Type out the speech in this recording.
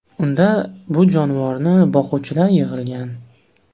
Unda bu jonivorni boquvchilar yig‘ilgan.